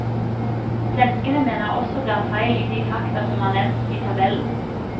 Svenskene mener også det er feil i de fakta som er nevnt i tabellen.